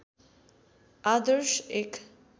आदर्श एक